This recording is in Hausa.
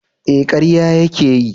Eh karya ya ke yi